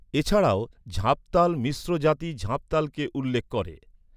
এছাড়াও ঝাঁপ তাল মিশ্র জাতি ঝাঁপ তালকে উল্লেখ করে।